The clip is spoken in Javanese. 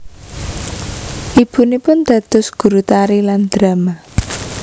Ibunipun dados guru tari lan drama